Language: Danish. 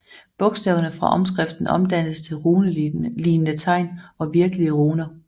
Bogstaverne fra omskriften omdannedes til runelignende tegn og virkelige runer